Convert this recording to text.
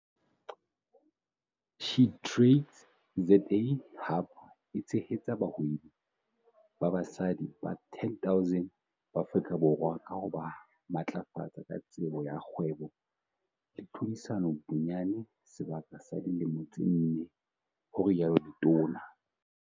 SheTradesZA Hub e tshehetsa bahwebi ba basadi ba 10 000 ba Afrika Borwa ka ho ba matlafatsa ka tsebo ya kgwebo le tlhodisano bonyane sebaka sa dilemo tse nne, ho rialo letona.